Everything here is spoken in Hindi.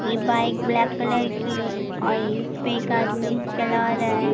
ये बाइक ब्लैक कलर की और इस पर एक आदमी चला रहा है।